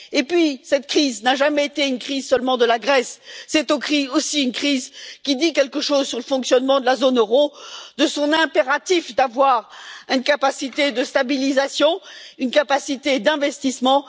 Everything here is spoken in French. Et puis, cette crise n'a jamais été une crise seulement de la Grèce, c'est aussi une crise qui dit quelque chose sur le fonctionnement de la zone euro, sur la nécessité d'avoir une capacité de stabilisation, une capacité d'investissement.